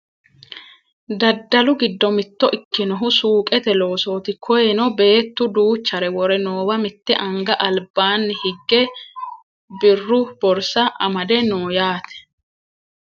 Daddalu giddo mitto ikkinohu suuqete loosooti koyeno beettu duuchare wore noowa mitte anga albaanni higge birru borsa amadde no yaate